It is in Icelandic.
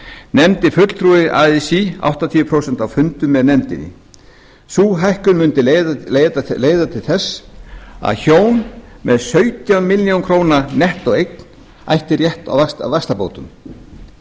nefndi fulltrúi así áttatíu prósent á fundum með nefndinni sú hækkun mundi leiða til þess að hjón með sautján milljónir króna nettóeign ættu rétt á vaxtabótum í